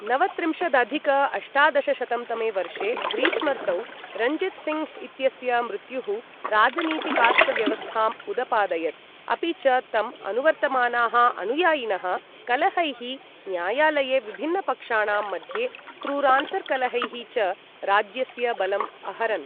नवत्रिंशदधिक अष्टादशशतं तमे वर्षे ग्रीष्मर्तौ रञ्जित् सिंह इत्यस्य मृत्युः राजनीतिकास्तव्यवस्थाम् उदपादयत्, अपि च तम् अनुवर्तमानाः अनुयायिनः कलहैः, न्यायालये विभिन्नपक्षाणां मध्ये क्रूरान्तर्कलहैः च राज्यस्य बलम् अहरन्।